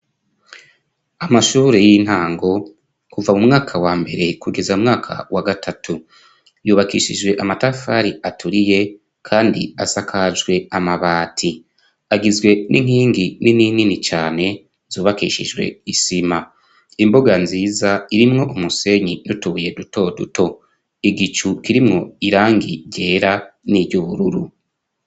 Amashure y'intango, kuva mu mwaka wambere kugeza mu mwana wa gatatu. Yubakishijwe amatafari aturiye, kandi asakajwe amabati. Agizwe n'inkingi nininini cane zubakishijwe isima. Imbuga nziza, irimwo umusenyi n'utubuye dutoduto. Igicu kirimwo irangi ryera n'iryubururu.